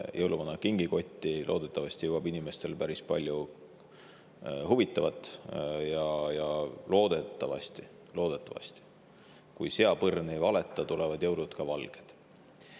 Jõuluvana kingikotti jõuab inimestel loodetavasti päris palju huvitavat ja loodetavasti – loodetavasti, kui seapõrn ei valeta – tulevad jõulud ka valged.